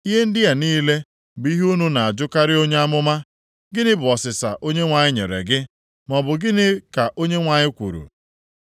Ihe ndị a niile bụ ihe unu na-ajụkarị onye amụma, ‘Gịnị bụ ọsịsa Onyenwe anyị nyere gị? Maọbụ, gịnị ka Onyenwe anyị kwuru?’